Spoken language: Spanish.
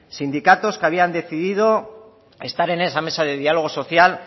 sindicatos que habían decidido estar en esa mesa de diálogo social